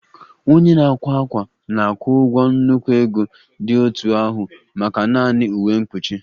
Onye na-akwa ákwà na-akwụ ụgwọ nnukwu ego dị otú ahụ maka naanị uwe mkpuchi